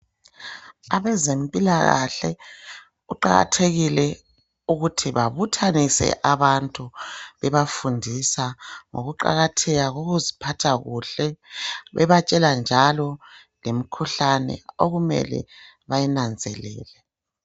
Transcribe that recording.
Abezempilakahle kuqakathekile ukuthi babuthanise abantu bebafundisa ngokuqakatheka kokuziphatha kuhle. Bebatshela njalo lemikhuhlane okumele bayinanzelele.